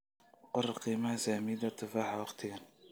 qor qiimaha saamiyada tufaaxa wakhtigan